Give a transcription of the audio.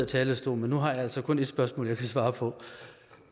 talerstolen men nu har jeg altså kun et spørgsmål jeg kan svare på